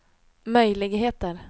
möjligheter